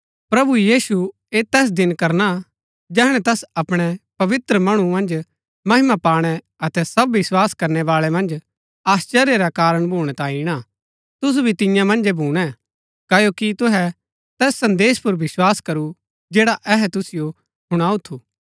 प्रभु यीशु ऐह तैस दिन करणा जैहणै तैस अपणै पवित्र मणु मन्ज महिमा पाणै अतै सब विस्वास करनै बाळै मन्ज आश्‍चर्य रा कारण भूणै तांई ईणा तुसु भी तिन्या मन्जै भूणै क्ओकि तुहै तैस संदेश पुर विस्वास करू जैड़ा अहै तुसिओ हुणाऊ थू